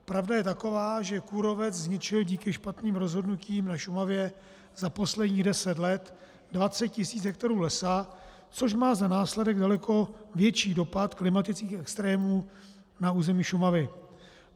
Pravda je taková, že kůrovec zničil díky špatným rozhodnutím na Šumavě za posledních deset let 20 tisíc hektarů lesa, což má za následek daleko větší dopad klimatických extrémů na území Šumavy.